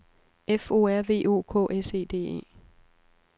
F O R V O K S E D E